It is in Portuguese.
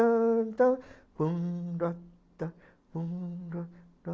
tan tan bum ta ta